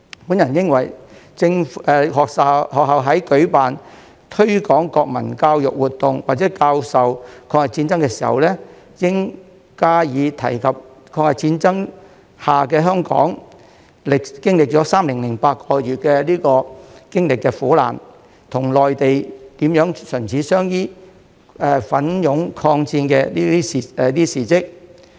我認為學校在舉辦推廣國民教育活動或教授抗日戰爭的歷史時，應加以提及在抗日戰爭下的香港經歷3年8個月的苦難，與內地如何唇齒相依、奮勇抗戰的事蹟。